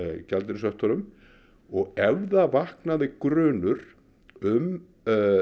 gjaldeyrishöftunum og ef það vaknaði grunur um